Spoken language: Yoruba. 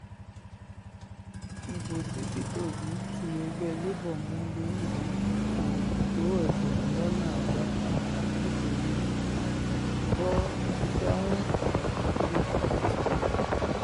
ibo tí peter obi ti ẹgbẹ́ labour mú londo yìí kò tó ẹgbẹ̀rún lọ́nà àádọ́ta nítorí forty seven thousand three hundred fifty ni